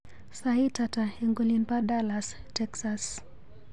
Sait ata eng olin pa Dallas, Texas.